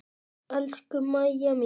Elsku Mæja mín.